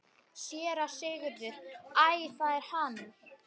SÉRA SIGURÐUR: Æ, það er hann!